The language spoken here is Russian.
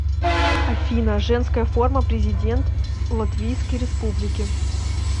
афина женская форма президент латвийской республики